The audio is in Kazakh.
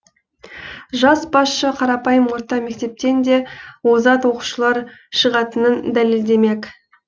жас басшы қарапайым орта мектептен де озат оқушылар шығатынын дәлелдемек